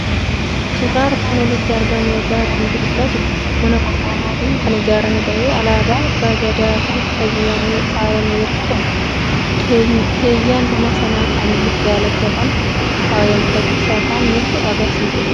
Suuraa armaan olitti argamu irraa waanti mul'atu; mana qorqoorrootin kan ijaaramee ta'e Alaaba abbaa gadaan kan faayame yommuu ta'u, keeyyan mana sana halluu daalachan kan faayame ta'uu isaa kan nutti agarsiisudha.